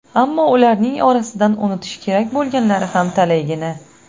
Ammo ularning orasidan unutish kerak bo‘lganlari ham talaygina.